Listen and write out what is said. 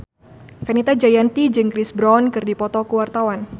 Fenita Jayanti jeung Chris Brown keur dipoto ku wartawan